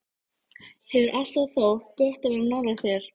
Hefur alltaf þótt gott að vera nálægt þér.